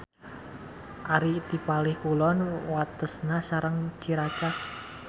Ari ti palih kulon watesna sareng Ciracas.